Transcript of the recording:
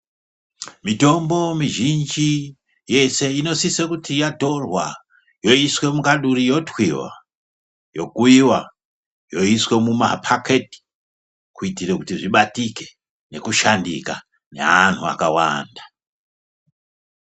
Mitombo mizhinji yese inosise kuti yatorwa yoiswe mukaduri yotwiva. Yokuiva yoiswe mumapaketi kuitire kuti zvibatike nekushandika naantu akawanda.